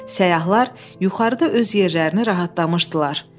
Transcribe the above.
Səyyahlar yuxarıda öz yerlərini rahatlamışdılar.